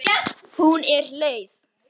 Hún er leið.